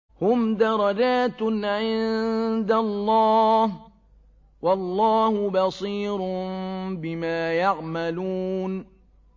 هُمْ دَرَجَاتٌ عِندَ اللَّهِ ۗ وَاللَّهُ بَصِيرٌ بِمَا يَعْمَلُونَ